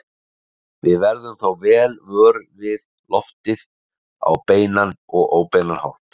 Við verðum þó vel vör við loftið á beinan og óbeinan hátt.